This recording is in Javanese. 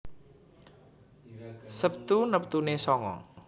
Sabtu neptune sanga